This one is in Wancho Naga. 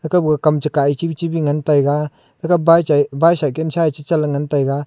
kap kam che kah ye chibichibi ngan taiga thekab baichai bicycle sa ye che chan la ngan taiga.